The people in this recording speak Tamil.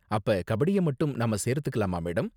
அப்ப கபடிய மட்டும் நாம சேர்த்துக்கலாமா, மேடம்?